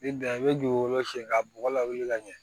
Ni dan i bɛ dugukolo si ka bɔgɔ lawuli ka ɲɛ